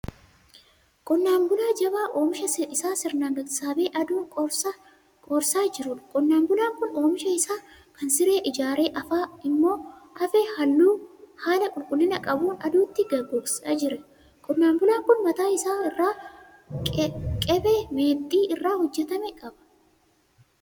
Qonnaan bulaa jabaa oomisha isaa sirnaan sassaabee aduun qoorsaa jiruudha. Qonnaan bulaan kun oomisha isaa kana siree ijaaree afaa immoo afee haala qulqullina qabuun aduutti gogsaa jira. Qonnaan bulaan kun mataa isaa irraa kephee meexxii irraa hojjetame qaba.